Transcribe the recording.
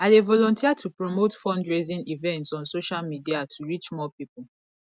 i dey volunteer to promote fundraising events on social media to reach more people